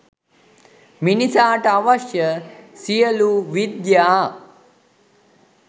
මිනිසාට අවශ්‍ය සියලූ විද්‍යා